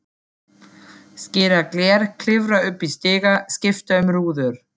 Skera gler, klifra upp í stiga, skipta um rúður.